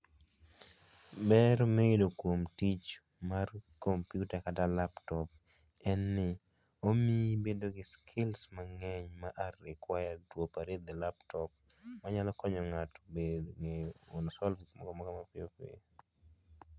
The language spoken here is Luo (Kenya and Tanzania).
Ber miyudo kuom tich mar kompyuta kata laptop en ni omiyi ibedo gi skills mangeny ma are required to operate the laptop. Onyalo konyo ng'ato ng'eyo kuom solve mapiyo piyo